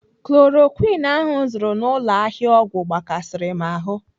Chloroquine ahụ m zụrụ n'ụlọ ahịa ọgwụ gbakasịrị m ahụ.